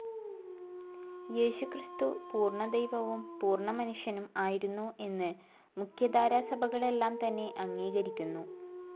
യേശുക്രിസ്തു പൂർണ്ണ ദൈവവും പൂർണ്ണ മനുഷ്യനും ആയിരുന്നു എന്നു മുഖ്യധാരാ സഭകളെല്ലാം തന്നെ അംഗീകരിക്കുന്നു.